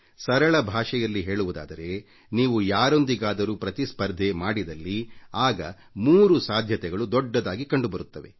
ಸರಳ ಭಾಷೆಯಲ್ಲಿ ಹೇಳುವುದಾದರೆ ನೀವು ಯಾರೊಂದಿಗಾದರೂ ಪ್ರತಿಸ್ಪರ್ಧೆ ಮಾಡಿದಲ್ಲಿ ಆಗ 3 ಸಾಧ್ಯತೆಗಳು ದೊಡ್ಡದಾಗಿ ಕಂಡುಬರುತ್ತವೆ